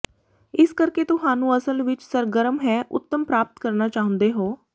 ਇਸ ਕਰਕੇ ਤੁਹਾਨੂੰ ਅਸਲ ਵਿੱਚ ਸਰਗਰਮ ਹੈ ਉਤਮ ਪ੍ਰਾਪਤ ਕਰਨਾ ਚਾਹੁੰਦੇ ਹੋ